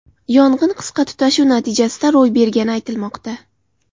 Yong‘in qisqa tutashuv natijasida ro‘y bergani aytilmoqda.